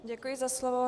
Děkuji za slovo.